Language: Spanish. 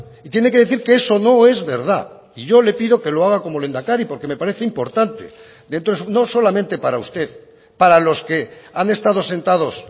y tiene que decir que eso no es verdad y yo le pido que lo haga como lehendakari porque me parece importante no solamente para usted para los que han estado sentados